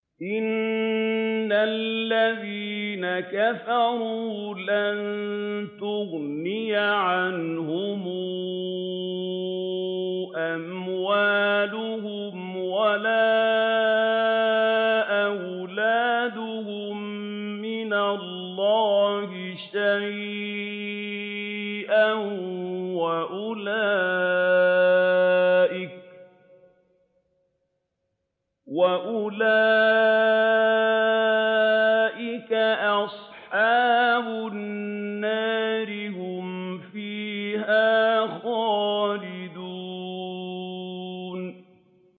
إِنَّ الَّذِينَ كَفَرُوا لَن تُغْنِيَ عَنْهُمْ أَمْوَالُهُمْ وَلَا أَوْلَادُهُم مِّنَ اللَّهِ شَيْئًا ۖ وَأُولَٰئِكَ أَصْحَابُ النَّارِ ۚ هُمْ فِيهَا خَالِدُونَ